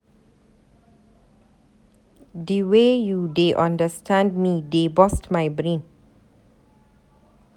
Di wey you dey understand me dey burst my brain.